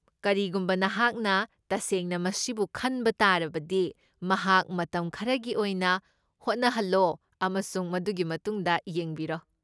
ꯀꯔꯤꯒꯨꯝꯕ ꯅꯍꯥꯛꯅ ꯇꯁꯦꯡꯅ ꯃꯁꯤꯕꯨ ꯈꯟꯕ ꯇꯥꯔꯕꯗꯤ ꯃꯍꯥꯛ ꯃꯇꯝ ꯈꯔꯒꯤ ꯑꯣꯏꯅ ꯍꯣꯠꯅꯍꯜꯂꯣ ꯑꯃꯁꯨꯡ ꯃꯗꯨꯒꯤ ꯃꯇꯨꯡꯗ ꯌꯦꯡꯕꯤꯔꯣ꯫